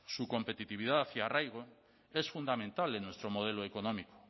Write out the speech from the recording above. su competitividad y arraigo es fundamental en nuestro modelo económico